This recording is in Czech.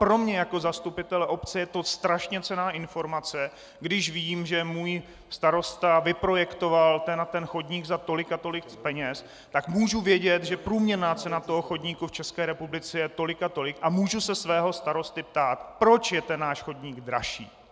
Pro mě jako zastupitele obce je to strašně cenná informace, když vím, že můj starosta vyprojektoval ten a ten chodník za tolik a tolik peněz, že můžu vědět, že průměrná cena toho chodníku v České republice je tolik a tolik a můžu se svého starosty ptát, proč je ten náš chodník dražší!